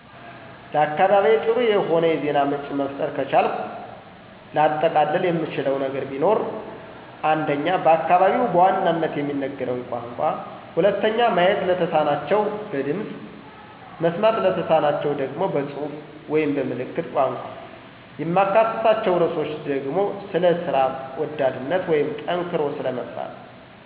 ለአካባቢዬ ጥሩ የሆነ የዜና ምንጭ መፍጠር ከቻልኩ ላጠቃልል የምችለው ነገር ቢኖር:- 1. በአካባቢው በዋናነት የሚነገረውን ቋንቋ 2. ማየት ለተማናቸው በድምፅ፣ መስማት ለተሳናቸው ደግሞ በፅሁፍ ወይም በ ምልክት ቋንቋ። የማካትታቸው ርዕሶች ደግሞ ስለ ስራ ወዳድነት ወይም ጠንክሮ ስለ መስራት።